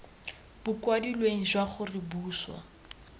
bo kwadilweng jwa gore boswa